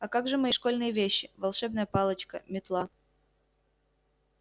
а как же мои школьные вещи волшебная палочка метла